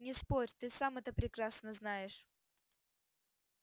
не спорь ты сам это прекрасно знаешь